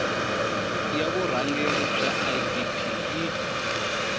ya vurhangeri bya idp yi